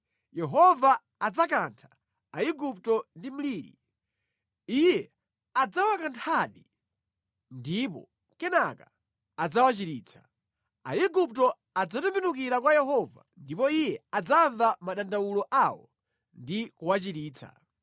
Yehova adzakantha Aigupto ndi mliri. Iye adzawakanthadi ndipo kenaka adzawachiritsa. Aigupto adzatembenukira kwa Yehova ndipo Iye adzamva madandawulo awo ndi kuwachiritsa.